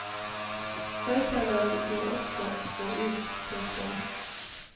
Røykerne vil jo også gå ut. punktum